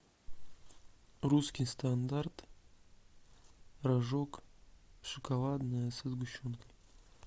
русский стандарт рожок шоколадное со сгущенкой